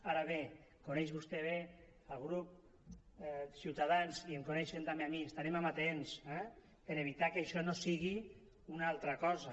ara bé coneix vostè bé el grup ciutadans i em coneixen també a mi estarem amatents eh per a evitar que això no sigui una altra cosa